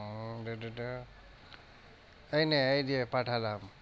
উম এই নে এই যে পাঠালাম।